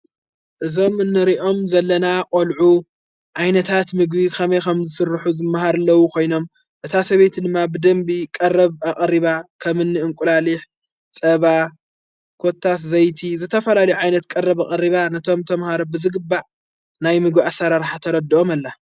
እዞም ንርእኦም ዘለና ቖልዑ ዓይነታት ምግቢ ኸመይ ኸም ዘስርኁ ዘመሃርለዉ ኾይኖም እታ ሰበይት ድማ ብደንቢ ቀረብ ኣቐሪባ ከምን እንቊላሊሕ ጸባ ኰታት ዘይቲ ዘተፈላል ዓይነት ቀረብ ኣቐሪባ ነቶም ተምሃረብዝግባዕ ናይ ምግቢ ኣሠራራሕ ተረድኦም ኣላ::